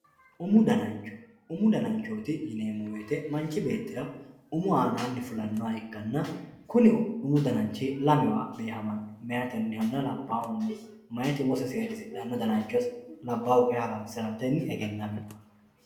Umu danancho, umu dananichooti yineemo woyite manchi beetira umu aananni higge fulanoha ikkanna kuni umu dananichi lamewa beehamanno, meyatehanna labahunniha, meyati umose seedisidhanno dananchose labaahu kayinni haransiratenni eggenamino